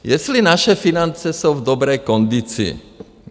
Jestli naše finance jsou v dobré kondici?